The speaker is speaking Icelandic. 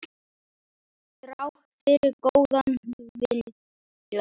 Þrátt fyrir góðan vilja.